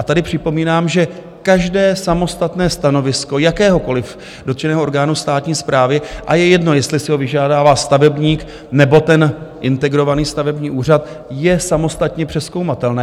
A tady připomínám, že každé samostatné stanovisko jakéhokoliv dotčeného orgánu státní správy, a je jedno, jestli si ho vyžádá stavebník nebo ten integrovaný stavební úřad, je samostatně přezkoumatelné.